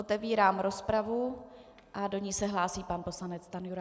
Otevírám rozpravu a do ní se hlásí pan poslanec Stanjura.